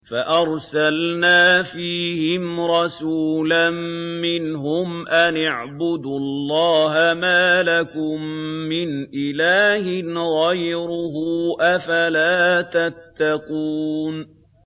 فَأَرْسَلْنَا فِيهِمْ رَسُولًا مِّنْهُمْ أَنِ اعْبُدُوا اللَّهَ مَا لَكُم مِّنْ إِلَٰهٍ غَيْرُهُ ۖ أَفَلَا تَتَّقُونَ